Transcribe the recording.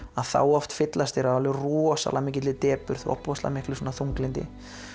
þá fyllast þeir af rosalega mikilli depurð og ofboðslega miklu þunglyndi